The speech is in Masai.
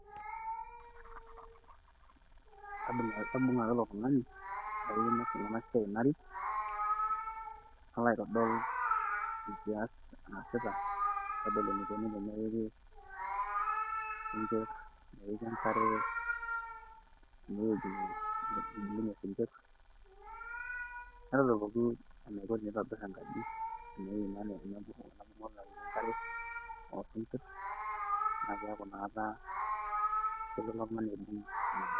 kaibung ake ilotungani, narik, nalo aitodol enkias naasita, naitodol enikoni tenepiki, enkare, ene wueji nebulunye sikir, naitodol eneiko teneitobir enkaji, netum enkare oosinkir. naa keeku inakata kelo oltungani aibung ina bae.